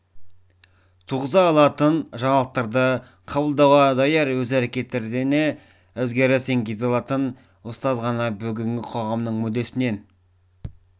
туғыза алатын жаңалықтарды қабылдауға даяр өз әрекетіне өзгеріс енгізе алатын ұстаз ғана бүгінгі қоғамның мүддесінен